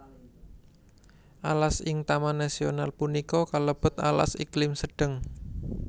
Alas ing taman nasional punika kalebet alas iklim sedheng